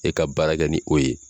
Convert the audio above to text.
E ka baara kɛ ni o ye.